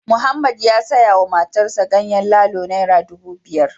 Mohammed ya sayawa matarsa ​​ganyen lalo naira dubu biyar